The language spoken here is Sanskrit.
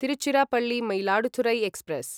तिरुचिरापल्ली मयिलाडुतुरै एक्स्प्रेस्